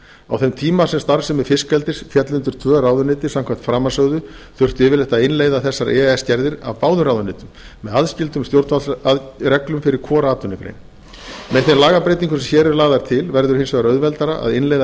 á þeim tíma sem starfsemi fiskeldis féll undir tvö ráðuneyti samkvæmt framansögðu þurfti yfirleitt að innleiða þessar e e s gerðir af báðum ráðuneytum með aðskildum stjórnvaldsreglum fyrir hvora atvinnugrein með þeim lagabreytingum sem hér eru lagðar til verður hins vegar auðveldara að innleiða